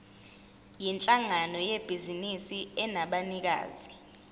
yinhlangano yebhizinisi enabanikazi